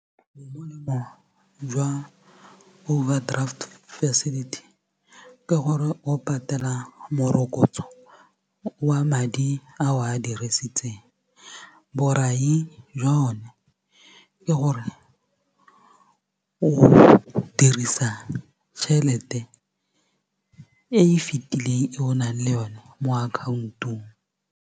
Jwa overdraft facility ke gore o patela morokotso wa madi a o a dirisitseng borai jwa yone ke gore o dirisa tšhelete e fitileng e o nang le yone mo akhaontong.